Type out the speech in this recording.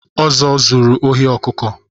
Ozo zụrụ ohi ọkụkụ